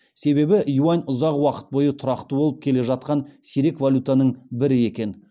себебі юань ұзақ уақыт бойы тұрақты болып келе жатқан сирек валютаның бірі екен